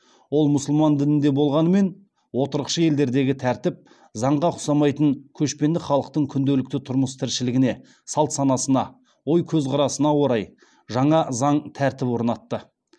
ол мұсылман дінінде болғанмен отырықшы елдердегі тәртіп заңға ұқсамайтын көшпенді халықтың күнделікті тұрмыс тіршілігіне салт санасына ой көзқарасына орай жаңа заң тәртіп орнатты